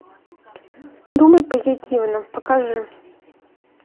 думай позитивно покажи